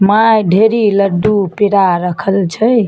माय ढेरी लड्डू पेड़ा रखल छै।